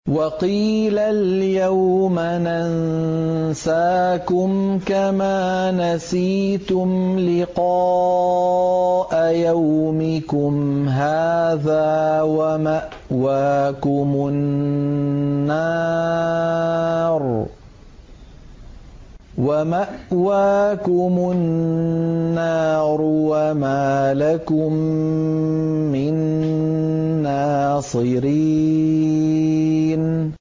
وَقِيلَ الْيَوْمَ نَنسَاكُمْ كَمَا نَسِيتُمْ لِقَاءَ يَوْمِكُمْ هَٰذَا وَمَأْوَاكُمُ النَّارُ وَمَا لَكُم مِّن نَّاصِرِينَ